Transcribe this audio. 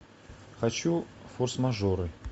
хочу форс мажоры